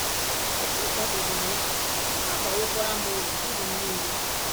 Echezọbeghị m ya, ha abawokwara m uru ndụ m nile.